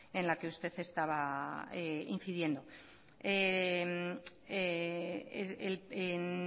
en la que usted estaba incidiendo en